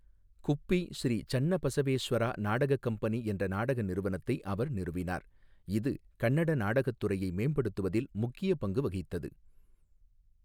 குப்பி ஸ்ரீ சன்னபசவேஸ்வரா நாடகக் கம்பெனி என்ற நாடக நிறுவனத்தை அவர் நிறுவினார், இது கன்னட நாடகத் துறையை மேம்படுத்துவதில் முக்கிய பங்கு வகித்தது.